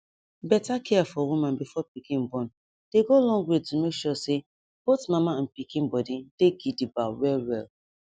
better care for woman before pikin born dey go long way to make sure say both mama and pikin body dey gidigba well well